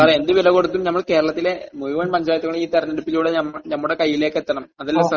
Sir എന്ത് വിലകൊടുത്തും കേരളത്തിലെ മുഴുവൻ പഞ്ചായത്തുകളും ഈ തെരഞ്ഞെടുപ്പിലൂടെ നമ്മുടെ കയ്യിലേക്കെത്തണം, അതല്ലേ സാർ?